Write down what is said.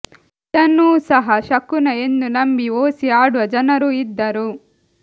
ಇದನ್ನೂ ಸಹ ಶಕುನ ಎಂದು ನಂಬಿ ಓಸಿ ಆಡುವ ಜನರೂ ಇದ್ದರು